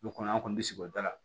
O kɔnɔ an kɔni bi sigi o da la